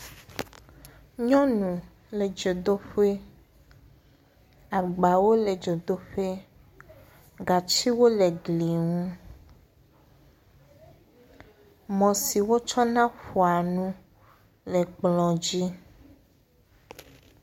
Nyɔnu le dzodoƒe, agbawo e dzodoƒe, gatsiwo le gliŋu, mɔ si wotsɔna ƒoa nu le kplɔ dzi.